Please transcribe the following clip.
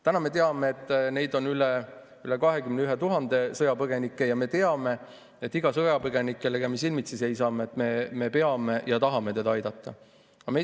Täna me teame, et sõjapõgenikke on üle 21 000, ja me teame, et iga sõjapõgenikku, kellega me silmitsi seisame, me peame aitama ja tahame aidata.